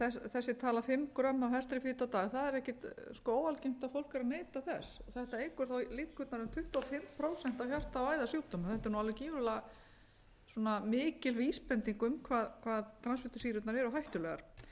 þessi tala fimm grömm af hertri fitu á dag það er ekkert óalgengt að fólk er að neyta þess þetta eykur líkurnar um tuttugu og fimm prósent á hjarta og æðasjúkdómum þetta er nú alveg gífurlega mikil vísbending um hvað transfitusýrurnar eru hættulegar það